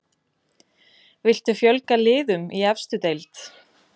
Viltu fjölga liðum í efstu deild?